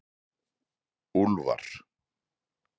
Úlfar